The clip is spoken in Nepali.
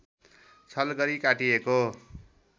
छल गरी काटिएको